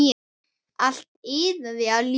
Allt iðaði af lífi.